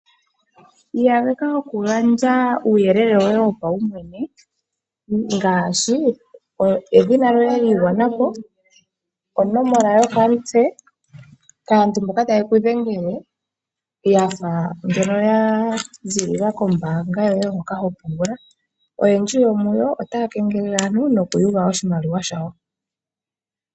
Iyageka okugandja uuyelele woye wopaumwene ngaashi edhina lyoye lyi igwana po, onomola yokamutse kaantu mboka taye ku dhengele ya fa ngeno ya ziilila kombaanga yoye hoka ho pungula. Oyendji yo muyo otaya kengelele aantu nokuyuga oshimaliwa shawo.